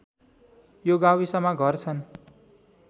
यो गाविसमा घर छन्